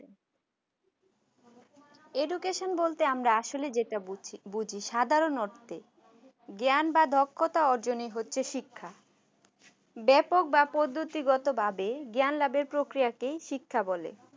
education বলতে আসলে আমরা যেটা বুজি বুজি সাধারণ অর্থে জ্ঞান বা দক্ষতা অর্জন ই হচ্ছে শিক্ষা ব্যাপক বা পদ্ধতি গত ভাবে জ্ঞান লাভের পক্রিয়াকেই শিক্ষা বলে